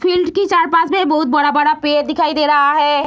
Field की आस-पास में बहुत बड़ा-बड़ा पेड़ दिखाई दे रहा है।